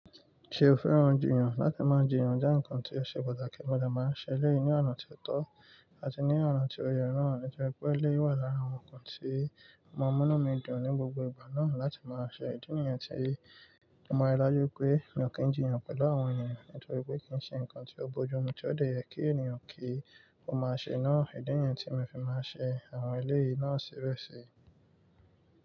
Ṣe o fẹ́ràn jìyàn? Láti máa jìyàn jẹ́ ǹkan tí ó ṣe pàtàkì, mo de máa ń ṣẹlẹ̀ yìí ní ọ̀nà tí ó tọ́ àti ní ọ̀nà tí ó ye naa nítorí pé eleyi wà lára àwọn ǹkan tí ọ ma mu nu midun ní gbogbo ìgbà náà láti máa ṣe. Ìdí nìyẹn tí mo mọ̀ ọ́n lájú pé mi ò kí ń jìyàn pẹ̀lú àwọn ènìyàn nítorí pé kì í ṣe ǹkan tí ó bojú omi tí ó dá yẹ kí ènìyàn kí ó máa ṣe náà. Ìdí nìyẹn tí mo fi máa ń ṣe àwọn eléyìí náà ṣẹrẹ́ṣẹrẹ́.